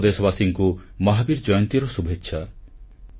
ସମସ୍ତ ଦେଶବାସୀଙ୍କୁ ମହାବୀର ଜୟନ୍ତୀର ଶୁଭେଚ୍ଛା